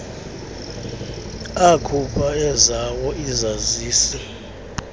akhupha ezawo izazisi